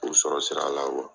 O sɔrɔ sira la